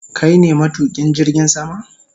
Kai ne matukin jirgin sama?